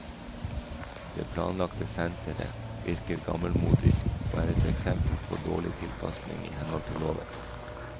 Det planlagte sentret virker gammelmodig og er et eksempel på dårlig tilpasning i henhold til loven.